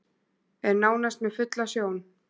Er nánast með fulla sjón